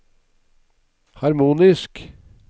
harmonisk